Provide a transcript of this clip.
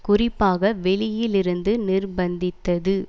குறிப்பாக வெளியிலிருந்து நிர்ப்பந்தித்தது